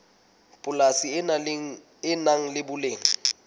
polasi le nang le boleng